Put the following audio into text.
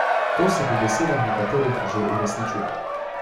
To se po besedah nekaterih že uresničuje.